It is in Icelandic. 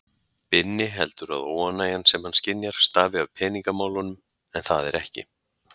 Binni heldur að óánægjan sem hann skynjar stafi af peningamálunum en það er ekki.